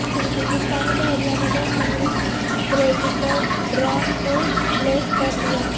ہندوستانی بحریہ نے دو امریکی پریڈیٹر ڈرون کو لیز پر لیا